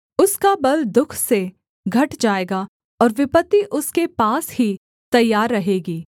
उसका बल दुःख से घट जाएगा और विपत्ति उसके पास ही तैयार रहेगी